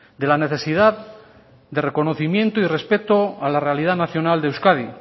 de la necesidad de reconocimiento y respeto a la realidad nacional de euskadi